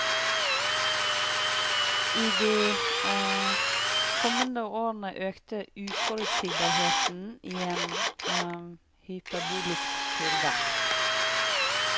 I de kommende årene økte uforutsigbarheten i en hyperbolisk kurve.